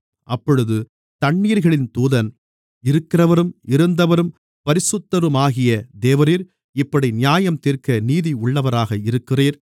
அப்பொழுது தண்ணீர்களின் தூதன் இருக்கிறவரும் இருந்தவரும் பரிசுத்தருமாகிய தேவரீர் இப்படி நியாயந்தீர்க்க நீதியுள்ளவராக இருக்கிறீர்